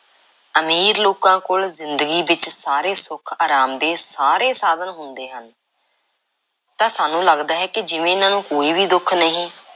ਅਮੀਰ ਲੋਕਾਂ ਕੋਲ ਜ਼ਿੰਦਗੀ ਵਿੱਚ ਸਾਰੇ ਸੁੱਖ, ਅਰਾਮ ਦੇ ਸਾਰੇ ਸਾਧਨ ਹੁੰਦੇ ਹਨ। ਤਾਂ ਸਾਨੂੰ ਲੱਗਦਾ ਹੈ ਜਿਵੇਂ ਇਹਨਾਂ ਨੂੰ ਕੋਈ ਵੀ ਦੁੱਖ ਨਹੀਂ